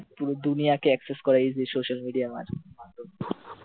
পুরো দুনিয়াকে acess করা এই social media এর মাধ্যমে,